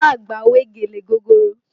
Ìyá àgbà wé gèlè gogoro